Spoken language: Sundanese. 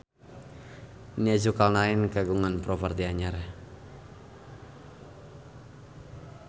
Nia Zulkarnaen kagungan properti anyar